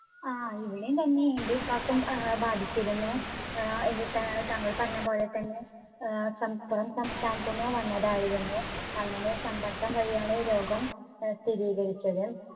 ആ ഇവിടെയും തന്നെ എന്റെ ഉപ്പക്കും ഏർ ബാധിച്ചിരുന്നു. ഏർ താങ്കൾ പറഞ്ഞപോലെ തന്നെ ഏർ സം പുറം സംസ്ഥാനത്തിന് വന്നതായിരുന്നു. അങ്ങനെ സമ്പർക്കം വഴി ആണ് രോഗം ഏർ സ്ഥിരീകരിച്ചത്.